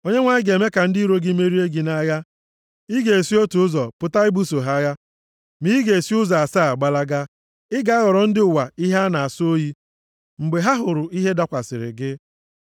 Onyenwe anyị ga-eme ka ndị iro gị merie gị nʼagha. Ị ga-esi otu ụzọ pụta ibuso ha agha, ma ị ga-esi ụzọ asaa gbalaga. Ị ga-aghọrọ ndị ụwa ihe a na-asọ oyi mgbe ha hụrụ ihe dakwasịrị gị.